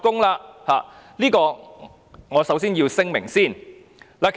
這點是我首先要聲明的。